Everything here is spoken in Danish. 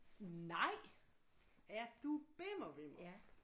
Nej er du bimmer vimmer